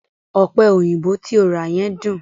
Ọ̀pẹ̀ òyìnbò tí o rà yẹn dùn.